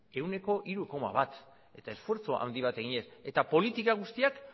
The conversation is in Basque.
ehuneko hiru koma bat eta esfortzu handi bat eginez eta politika guztiak